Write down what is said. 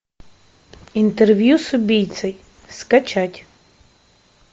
интервью с убийцей скачать